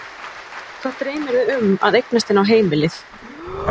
Hvað dreymir þig um að eignast inn á heimilið?